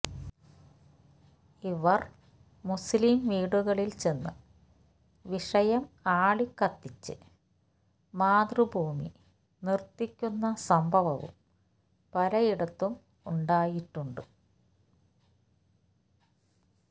ഇവർ മുസ്ലിം വീടുകളിൽ ചെന്ന് വിഷയം ആളിക്കത്തിച്ച് മാതൃഭൂമി നിർത്തിക്കുന്ന സംഭവവും പലയിടത്തും ഉണ്ടായിട്ടുണ്ട്